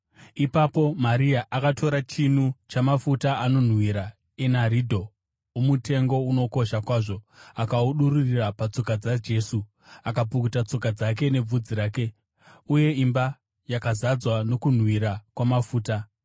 Ipapo Maria akatora chinu chamafuta anonhuhwira enaridho, omutengo unokosha kwazvo; akaadururira patsoka dzaJesu akapukuta tsoka dzake nebvudzi rake. Uye imba yakazadzwa nokunhuhwira kwamafuta.